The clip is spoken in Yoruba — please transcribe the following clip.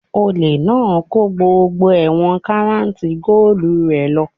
Olè náà kó gbogbo ẹ̀wọ̀n karat goolu rẹ̀ lọ